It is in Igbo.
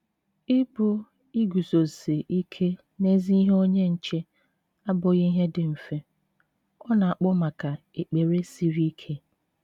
Ịbụ iguzosi ike n'ezi ihe - onye nche abụghị ihe dị mfe; ọ na-akpọ maka ekpere siri ike.